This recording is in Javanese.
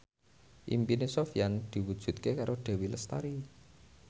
impine Sofyan diwujudke karo Dewi Lestari